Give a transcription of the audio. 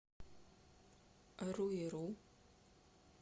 руиру